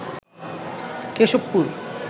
Keshabpur